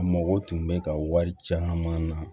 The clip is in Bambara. A mago tun bɛ ka wari caman na